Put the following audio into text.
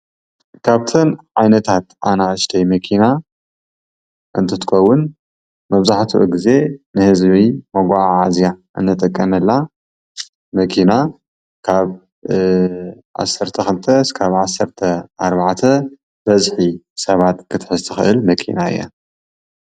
ካብተን ዓይነታት ኣናእሽተይ መኪና እንትትከውን መብዛሕትኡ ግዜ ናይ ህዝቢ መጎዓዕዝያ ንጥቀመላ መኪና ካብ 12-14 በዚሒ ሰባት ክትሕዝ ትክእል መኪና እያ።